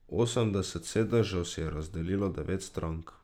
Osemdeset sedežev si je razdelilo devet strank.